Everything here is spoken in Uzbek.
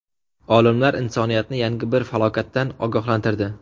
Olimlar insoniyatni yangi bir falokatdan ogohlantirdi.